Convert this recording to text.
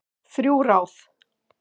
Þrjú ráð